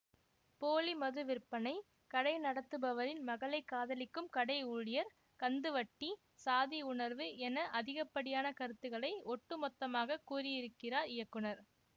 போலி மது விற்பனை கடை நடத்துபவரின் மகளை காதலிக்கும் கடை ஊழியர் கந்து வட்டி சாதி உணர்வு என அதிகப்படியான கருத்துகளை ஒட்டுமொத்தமாக கூறியிருக்கிறார் இயக்குனர்